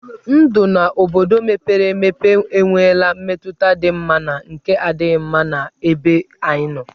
Ndụ n'obodo mepere emepe enwela mmetụta dị mma na nke na-adịghị mma n'ebe anyị nọ.